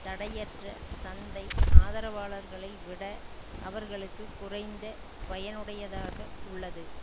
தடையற்ற சந்தை ஆதரவாளர்களை விட அவர்களுக்கு குறைந்த பயனுடையதாக உள்ளது